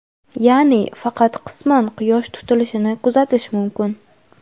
ya’ni faqat qisman Quyosh tutilishini kuzatish mumkin.